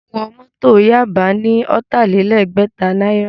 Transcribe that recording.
Mo wọ Mọ́tọ̀ Yaba ní ọ̀tàlélẹgbẹ̀ta náírà